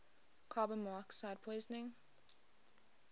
carbon monoxide poisoning